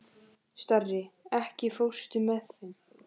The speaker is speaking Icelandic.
Starri, ekki fórstu með þeim?